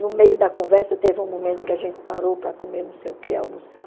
No meio da conversa, teve um momento que a gente parou para comer não sei o que, almoçar.